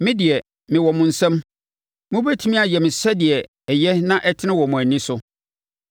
Me deɛ, mewɔ mo nsam; mobɛtumi ayɛ me sɛdeɛ ɛyɛ na ɛtene wɔ mo ani so.